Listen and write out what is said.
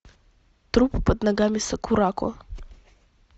труп под ногами сакурако